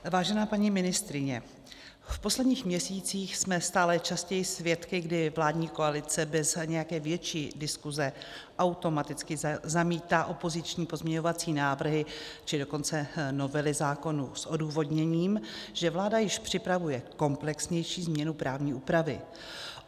Vážená paní ministryně, v posledních měsících jsme stále častěji svědky, kdy vládní koalice bez nějaké větší diskuse automaticky zamítá opoziční pozměňovací návrhy, či dokonce novely zákonů s odůvodněním, že vláda již připravuje komplexnější změnu právní úpravy.